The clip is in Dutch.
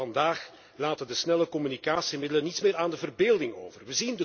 Vandaag laten de snelle communicatiemiddelen niets meer aan de verbeelding over.